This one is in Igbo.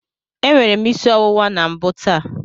Enwere m isi ọwụwa na mbụ taa.